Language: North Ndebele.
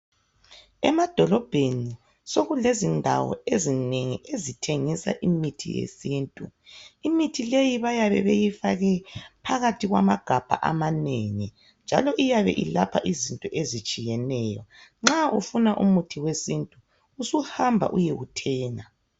Emadolobheni sokulezindawo ezinengi ezithengisa imithi yesintu imithi leyi bayabe beyfake phakathi kwamagabha amanengi njalo iyabe ilapha izifo ezitshiyeneyo nxa usufuna umuthi wesintu usuhamba uyewuthenga.